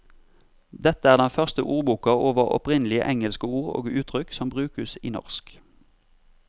Dette er den første ordboka over opprinnelige engelske ord og uttrykk som brukes i norsk.